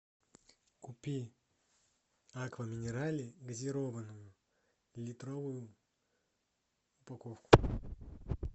купи аква минерале газированную литровую упаковку